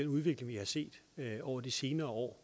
udvikling vi har set over de senere år